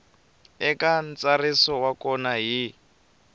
eka ntsariso wa vona hi